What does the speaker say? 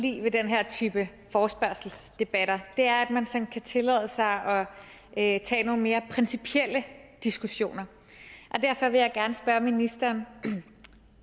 lide ved den her type forespørgselsdebatter er at man kan tillade sig at tage nogle mere principielle diskussioner og derfor vil jeg gerne spørge ministeren